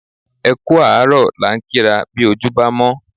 Ẹ kú àárọ̀ la ń kí ra bí ojú bámọ́